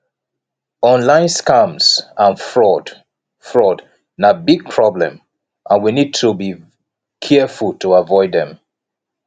online scams and fraud fraud na big problem and we need to be careful to avoid dem